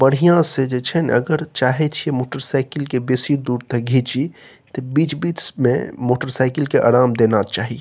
बढ़िया से जे छे ना अगर चाहे छे मोटरसाइकिल के बेसी दूर तक घींची त बीच-बीच में मोटरसाइकिल के आराम देना चाही।